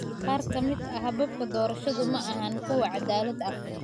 Qaar ka mid ah hababka doorashadu maaha kuwo cadaalad ah.